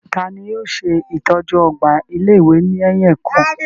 Ta ni yóò ṣe ìtọ́jú ọgbà ilé-ìwé lẹ́yìn ẹ̀kọ́?